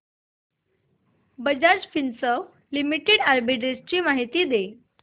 Bajaj Finserv limited arbitrage माहिती दे